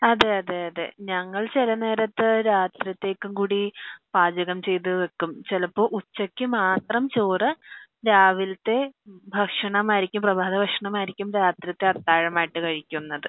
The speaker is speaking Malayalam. അതെ അതെ അതേ ഞങ്ങൾ ചില നേരത്തു രാത്രിത്തെക്കു കൂടി പാചകം ചെയ്തു വെക്കും ചെലപ്പോ ഉച്ചക്ക് മാത്രം ചോറ് രാവിലത്തെ ഭക്ഷണമായിരിക്കും പ്രഭാത ഭക്ഷണം ആയിരിക്കും രാത്രിത്തെ അത്താഴം ആയി കഴിക്കുന്നത്